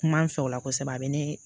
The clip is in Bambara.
Kuma n fɛ o la kosɛbɛ a bɛ ne